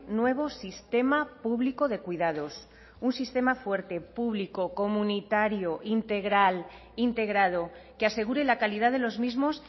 nuevo sistema público de cuidados un sistema fuerte público comunitario integral integrado que asegure la calidad de los mismos